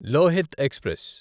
Lohit express